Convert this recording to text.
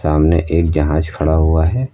सामने एक जहाज खड़ा हुआ है।